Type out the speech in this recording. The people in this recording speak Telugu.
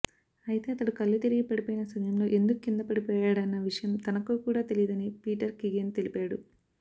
అయితే అతడు కళ్ళు తిరిగి పడిపోయిన సమయంలో ఎందుకు కిందపడిపోయాడన్న విషయం తనకు కూడా తెలియదని పీటర్ కిగెన్ తెలిపాడు